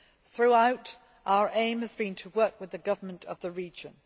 Throughout, our aim has been to work with the governments of the region.